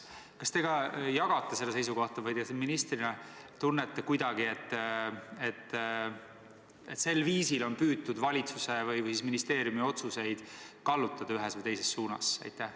Kas te ka jagate seda seisukohta või te ministrina tunnete kuidagi, et sel viisil on püütud valitsuse või ministeeriumi otsuseid kallutada ühes või teises suunas?